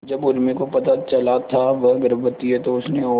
जब उर्मी को पता चला था वह गर्भवती है तो उसने और